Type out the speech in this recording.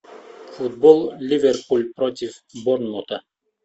футбол ливерпуль против борнмута